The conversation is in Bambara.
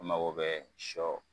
E mago be sɔ